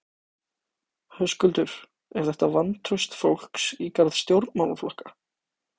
Höskuldur: Er þetta vantraust fólks í garð stjórnmálaflokka?